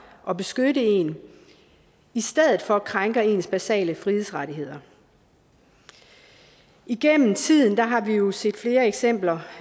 og beskytte en i stedet for krænker ens basale frihedsrettigheder igennem tiden har har vi jo set flere eksempler